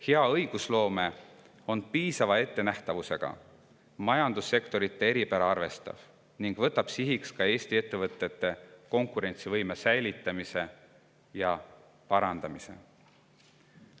Hea õigusloome on piisava ettenähtavusega, majandussektorite eripära arvestav ning võtab sihiks Eesti ettevõtete konkurentsivõime säilitamise ja parandamise.